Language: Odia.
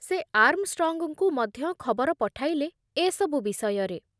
ସେ ଆର୍ମଷ୍ଟ୍ରଙ୍ଗଙ୍କୁ ମଧ୍ୟ ଖବର ପଠାଇଲେ ଏ ସବୁ ବିଷୟରେ ।